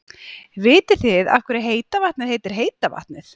Vitið þið af hverju heita vatnið heitir heita vatnið?